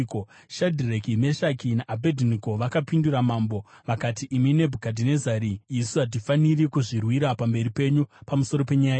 Shadhireki, Meshaki naAbhedhinego vakapindura mambo vakati, “Imi Nebhukadhinezari, isu hatifaniri kuzvirwira pamberi penyu pamusoro penyaya iyi.